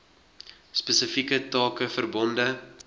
spesifieke take verbonde